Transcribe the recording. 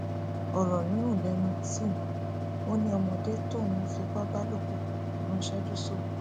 ọrọ rírùn lẹnu tim ó ní ọmọdé tóun fipá bá lò pọ lọ ńṣẹjú sí òun